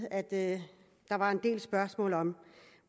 at der var en del spørgsmål om